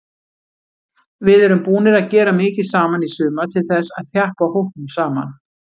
Við erum búnir að gera mikið saman í sumar til þess að þjappa hópnum saman.